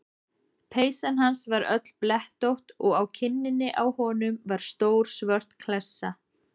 Peysan hans var öll blettótt og á kinninni á honum var stór svört klessa.